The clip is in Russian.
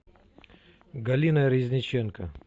галина резниченко